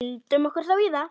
Vindum okkur þá í það.